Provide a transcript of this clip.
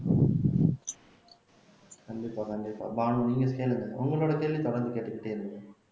கண்டிப்பா கண்டிப்பா பானு நீங்க கேளுங்க உங்களோட கேள்வி தொடர்ந்து கேட்டுக்கிட்டே இருங்க